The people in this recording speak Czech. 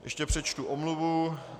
Ještě přečtu omluvu.